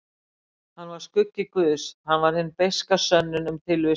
Hann var skuggi guðs, hann var hin beiska sönnun um tilvist guðs.